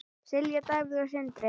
Silja, Davíð og Sindri.